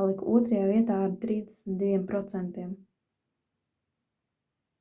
palika otrajā vietā ar 32%